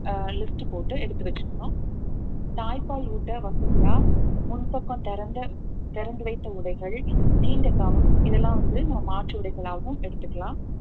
அஹ் list உ போட்டு எடுத்து வச்சுக்கணும் தாய்ப்பால் ஊட்ட வசதியா முன்பக்கம் திறந்த திறந்து வைத்த உடைகள் நீண்ட இதெல்லாம் வந்து நம்ம மாற்று உடைகளாகவும் எடுத்துக்கலாம்